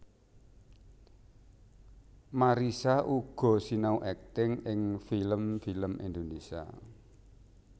Marissa uga sinau akting ing film film Indonésia